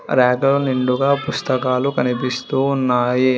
Rack లో నిండుగా పుస్తకాలు కనిపిస్తూ ఉన్నాయి.